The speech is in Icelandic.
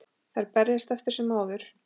Þær berjast eftir sem áður.